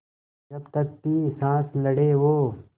जब तक थी साँस लड़े वो